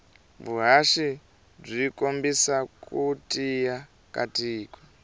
vuhhashi bwikombisa kutiya katiko